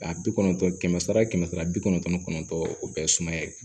A bi kɔnɔntɔn kɛmɛ sara kɛmɛ sara bi kɔnɔntɔn ni kɔnɔntɔn o bɛɛ ye sumaya ye